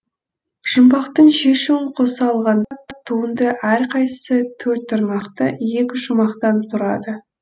жұмбақтың шешуін қоса алғанда туынды әрқайсысы төрт тармақты екі шумақтан турады